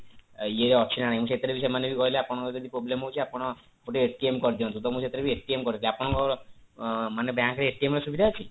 ଇଏ ଅଛି ନା ନାଇଁ ସେଥିରେ ବି ସେମାନେ ବି କହିଲେ ଆପଣଙ୍କର ଯଦି problem ହଉଛି ଆପଣ ଗୋଟେ କରିଦିଅନ୍ତୁ ତ ମୁଁ ସସେଥିରେ ବି କରିଦେଲି ଆପଣଙ୍କର bank ରେ ର ସୁବିଧା ଅଛି